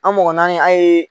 An mɔgɔ naani an ye